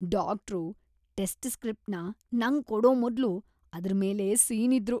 Doctor test ಸ್ಟ್ರಿಪ್‌ನ ನಂಗ್ ಕೊಡೋ ಮೊದ್ಲು ಅದ್ರ್ ಮೇಲೆ ಸೀನಿದ್ರು.